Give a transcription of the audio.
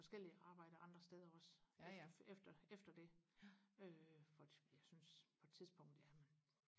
forskellige arbejder andre steder også efter efter efter det øh fordi jeg synes på et tidspunkt jamen